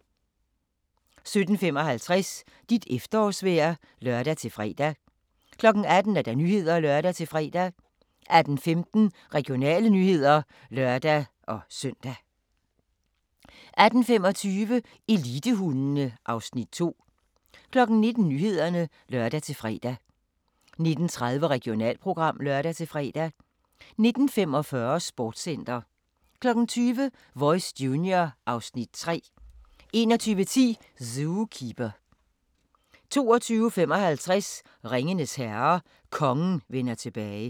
17:55: Dit efterårsvejr (lør-fre) 18:00: Nyhederne (lør-fre) 18:15: Regionale nyheder (lør-søn) 18:25: Elitehundene (Afs. 2) 19:00: Nyhederne (lør-fre) 19:30: Regionalprogram (lør-fre) 19:45: Sportscenter 20:00: Voice Junior (Afs. 3) 21:10: Zookeeper 22:55: Ringenes Herre – Kongen vender tilbage